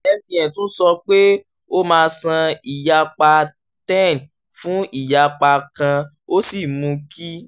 mtn tún sọ pé ó máa san ìyapa ten fún ìyapa kan ó sì mú kí